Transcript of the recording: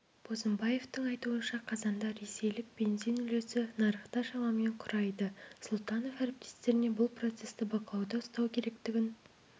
бозымбаевтың айтуынша қазанда ресейдік бензин үлесі нарықта шамамен құрайды сұлтанов әріптестеріне бұл процесті бақылауда ұстау керектігін